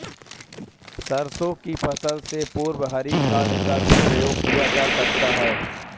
सरसों की फसल से पूर्व हरी खाद का भी प्रयोग किया जा सकता है